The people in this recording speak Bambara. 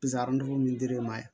Pisani min dir'e ma